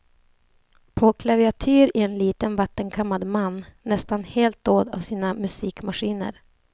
På klaviatur en liten vattenkammad man, nästan helt dold av sina musikmaskiner.